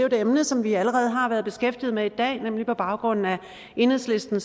et emne som vi allerede har været beskæftiget med i baggrund af enhedslisten